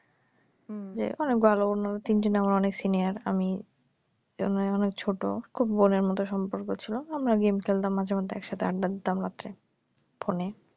উম যে অনেক ভালো উনারা তিন জনই আমার অনেক সিনিয়ার আমি ঐ তুলনায় অনেক ছোট খুব বোনের মত সম্পর্ক ছিল আমরা গেম খেলতাম মাঝে মধ্যে একসাথে আড্ডা দিতাম রাত্রে ফোনে